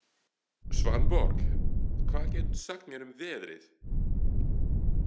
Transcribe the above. Svanborg, hvað geturðu sagt mér um veðrið?